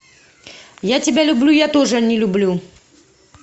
я тебя люблю я тоже не люблю